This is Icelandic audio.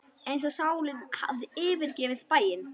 Eins og sálin hefði yfirgefið bæinn.